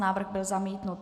Návrh byl zamítnut.